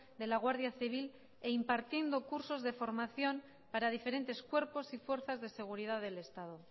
de la guardia civil e impartiendo cursos de formación para diferentes cuerpos y fuerzas de seguridad del estado